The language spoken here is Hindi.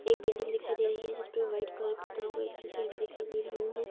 एक बिल्डिंग दिखाई दे रही है जिसपे वाइट कलर पूता हुआ अथी पेंट दिखाई दे रहीं हैं।